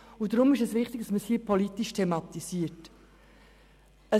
Deshalb ist es wichtig, dass es hier politisch thematisiert wird.